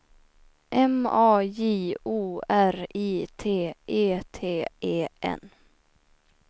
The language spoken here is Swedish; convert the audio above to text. M A J O R I T E T E N